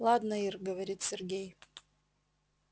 ладно ир говорит сергей